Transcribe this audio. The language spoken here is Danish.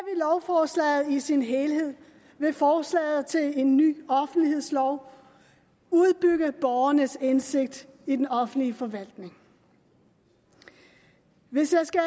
lovforslaget i sin helhed vil forslaget til en ny offentlighedslov udbygge borgernes indsigt i den offentlige forvaltning hvis jeg skal